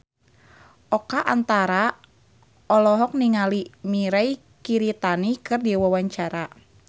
Oka Antara olohok ningali Mirei Kiritani keur diwawancara